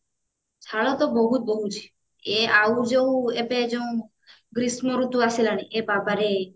ଝାଳ ତ ବହୁତ ବୋହୁଛି ଏ ଆଉ ଯୋଉ ଏବେ ଯୋଉ ଗ୍ରୀଷ୍ମ ଋତୁ ଆସିଲାଣି ଏ ବାବାରେ